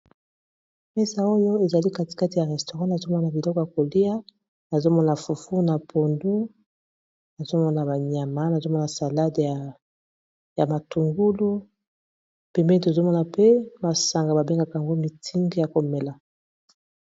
mesa oyo ezali katikati ya restourant azomona biloko ya kolia nazomona fufu na pondu nazomona banyama nazomona salade ya matungulu pembeni tozomona pe masanga babengaka ymgo mitingi ya komela